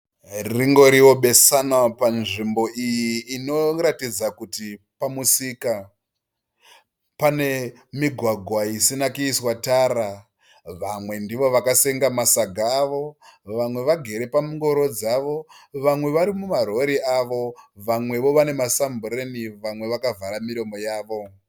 Rinongoriwo besanwa panzvimbo iyi inoratidza kuti pamusika. Pane migwagwa isina kuiswa tara. Vamwe ndivo vakasenga masaga avo vamwe vakagere pangoro dzavo. Vamwe vari mumarori avo vamwewo vari mumasambureni vamwe vakavhara miromo yavo.